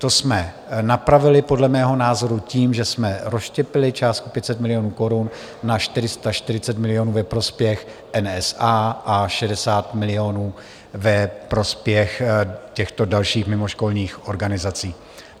To jsme napravili podle mého názoru tím, že jsme rozštěpili částku 500 milionů korun na 440 milionů ve prospěch NSA a 60 milionů ve prospěch těchto dalších mimoškolních organizací.